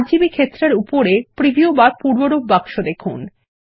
RGB ক্ষেত্রের উপরে preview বা পূর্বরূপ বাক্স দেখুন